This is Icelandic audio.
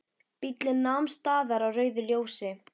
Bíllinn nam staðar á rauðu ljósi.